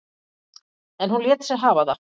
En hún lét sig hafa það.